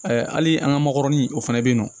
hali an ka makɔrɔni o fana bɛ yen nɔ